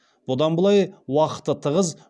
бұдан былай уақыты тығыз